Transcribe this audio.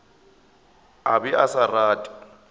a be a sa rate